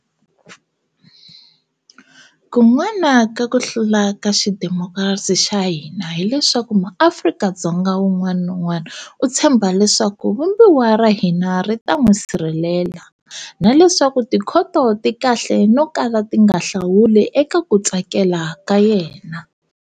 Kun'wana ka ku hlula ka xidemokirasi xa hina hi leswaku muAfrika-Dzonga un'wana na un'wana u tshemba leswaku Vumbiwa ra hina ri ta n'wi sirhelela, na leswaku tikhoto ti kahle no kala ti nga hlawuli eka ku tsakela ka yena.